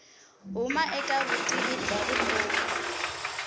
huma eka vutivi bya vutomi